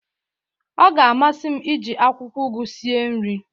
ọ ga-amasị m iji akwụkwọ ugu sie nri